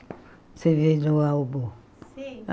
Você vê no álbum. Sim